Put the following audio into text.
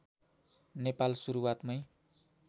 Nepal सुरुवातमै